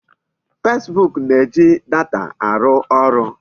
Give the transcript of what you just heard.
Facebook na-eji data arụ arụ.